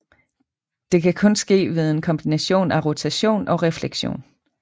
Det kan kun ske ved en kombination af rotation og refleksion